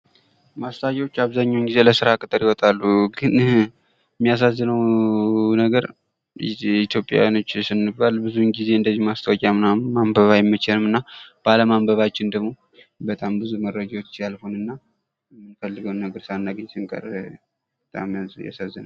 ማስታወቂያዎች አብዛኛውን ጊዜ ለስራ ቅጥር ይወጣሉ ግን የሚያሳዝነው እኛ ኢትዮጵያውያን እንደዚህ አይነት ነገሮችን ማንበብ አንወድም እና ባለማንበባችን ደግሞ ማግኘት የነበረብን ነገር ሳናገኝ ስንቀር በጣም ያሳዝናል።